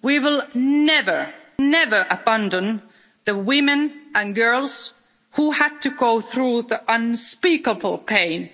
We will never, never abandon the women and girls who had to go through the unspeakable pain